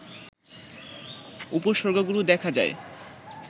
উপসর্গগুলো দেখা যায়